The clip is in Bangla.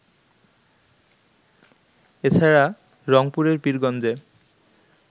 এছাড়া, রংপুরের পীরগঞ্জে